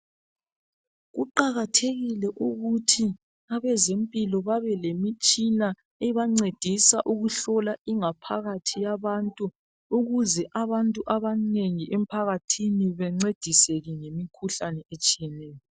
Kuqakathekile ukuthi abezimpilo babelemitshina ebancedisa ukuhlola ingaphakathi yabantu ukuze abantu abanengi emphakathini bencediseke ngemkhuhlane etshiyeneyo.